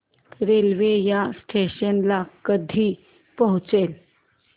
railway या station ला कधी पोहचते